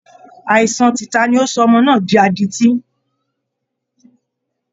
Aìsàan tìta ni ó sọ ọmọ náà di adití